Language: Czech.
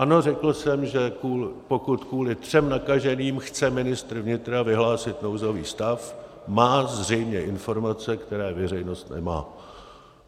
Ano, řekl jsem, že pokud kvůli třem nakaženým chce ministr vnitra vyhlásit nouzový stav, má zřejmě informace, které veřejnost nemá.